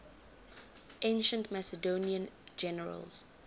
ancient macedonian generals